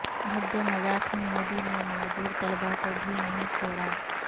بھدے مذاق میں مودی نے معذور طلبہ کو بھی نہیں چھوڑا